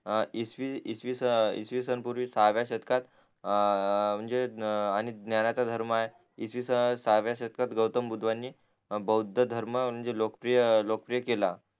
इस इसवीसन पूर्वी साव्ह्या शेतकात अं म्हणजे आणि ज्ञानाचा धर्म आहे इसवीसन साव्ह्या शतकात गौतम भवुद्धानी भौध धर्म म्हणजे लोकप्रिय लोकप्रिय केला